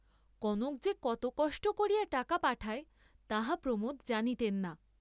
কনক যে কত কষ্ট করিয়া টাকা পাঠায় তাহা প্রমোদ জানিতেন না।